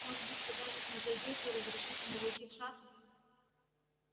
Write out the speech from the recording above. может быть вы даже снизойдёте и разрешите мне войти в сад